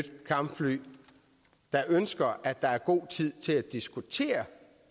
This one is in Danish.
kampfly der ønsker at der er god tid til at diskutere